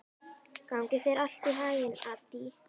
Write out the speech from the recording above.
Gangi þér allt í haginn, Addý.